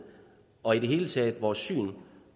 og i det hele taget vores syn